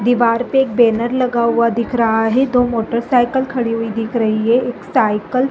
दिवार पे एक बैनर लगा हुआ दिख रहा है दो मोटर साइकिल खड़ी हुई दिख रही है एक साईकिल --